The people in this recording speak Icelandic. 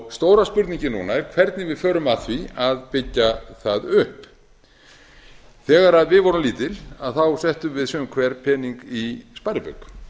stóra spurningin núna er hvernig við förum að því að byggja það upp þegar við vorum lítil þá settum við sum hver pening í sparibauk